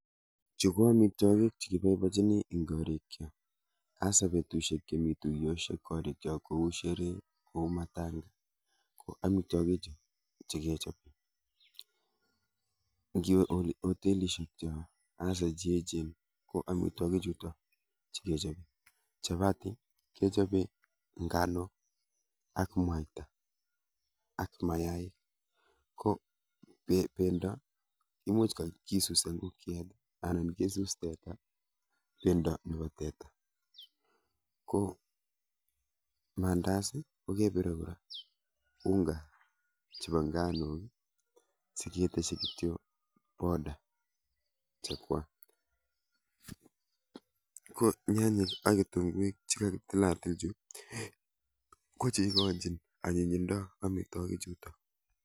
Chu ko amitwokik chekiboibochini eng korikchok hasa betushek chemi tuiyoshek korikchok kou sheree , ku matanga ku amitwokichu chikechope. nkiwe hotelishekchok hasa cheechen ko amitwokichuto chikechope. Chapati kechope nganok ak mwaita ak mayaik ko pendo imuch kisuse ngokiet anan kisus teta, pendo nepo teta ko mandas kepire kora unga chepo nganok siketeshi kityo powder chekwa ko nyanyek ak kitunguik chekakitilatil chu ko cheikochin anyinyindo amitwokichuto.